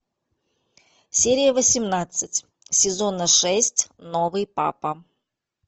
серия восемнадцать сезона шесть новый папа